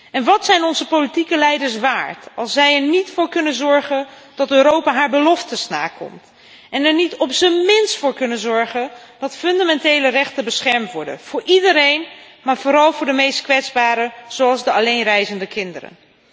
En wat zijn onze politieke leiders waard als zij er niet voor kunnen zorgen dat Europa haar beloftes nakomt en er niet op z'n minst voor kunnen zorgen dat fundamentele rechten beschermd worden voor iedereen, maar vooral voor de meest kwetsbaren, zoals de alleenreizende kinderen?